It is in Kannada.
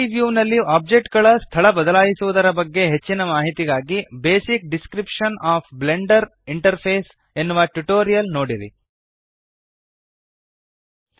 3ದ್ ವ್ಯೂನಲ್ಲಿ ಓಬ್ಜೆಕ್ಟ್ ಗಳ ಸ್ಥಳ ಬದಲಾಯಿಸುವದರ ಬಗ್ಗೆ ಹೆಚ್ಚಿನ ಮಾಹಿತಿಗಾಗಿ basic description of blender interface basic description of blender interface ಎನ್ನುವ ಟ್ಯುಟೋರಿಯಲ್ ನೋಡಿರಿ